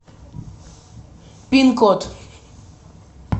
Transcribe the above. пин код